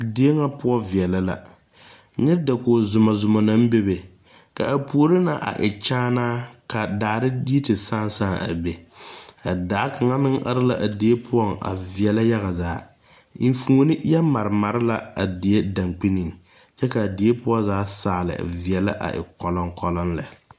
Die ŋa poʊ viɛle la. Nyɛ dakoge zumo zumo na bebe. Ka a poore na a e kyaanaa ka daare yi te saaŋ saaŋ a be. A daa kanga meŋ are la a die poʊŋ a viɛle yaga zaa. Eŋfuone yɔ mare mare la a die dangnineŋ. Kyɛ ka die poʊ zaa saali viɛle a e koloŋkoloŋ lɛ